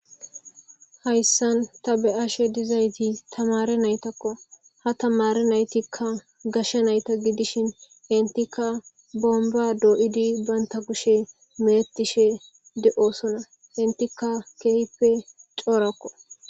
Hayssan ta be'ashe dizayti tamare naytakko ha tamare naytikka gashsha nayta gidishin intika bomba doo'idi banta kushe meettishe de'osona intika keehippe coorakko.